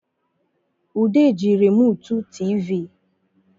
Ude ji remụtụ tịvị